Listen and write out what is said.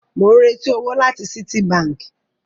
Mò ń retí owó láti Citibank